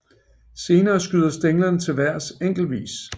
Senere skyder stænglerne til vejrs enkeltvis